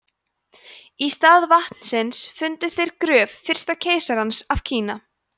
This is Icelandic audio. í stað vatnsins fundu þeir gröf fyrsta keisarans af kína